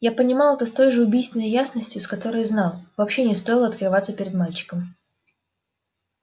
я понимал это с той же убийственной ясностью с которой знал вообще не стоило открываться перед мальчиком